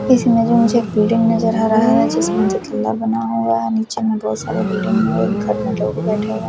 इस ईमेज में मुझे एक बिल्डिंग नजर आ रहा है जिसमें दुतल्ला बना हुआ है नीचे में बहुत सारा बिल्डिंग में घर में लोग बैठे हुए।